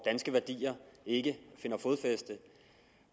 danske værdier ikke finder fodfæste